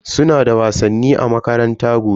Suna da wasanni a makaranta gobe.